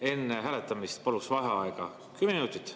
Enne hääletamist paluksin vaheaega kümme minutit.